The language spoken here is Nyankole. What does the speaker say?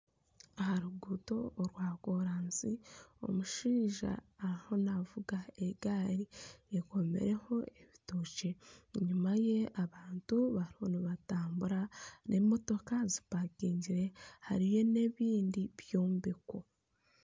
Aha ruguuto orwa koransi , omushaija ariho navuga egaari akomireho ebitookye enyuma ye abantu bariho nibatambura emotoka zipakingire hariyo n'ebindi byombeko.